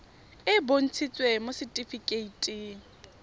e e bontshitsweng mo setifikeiting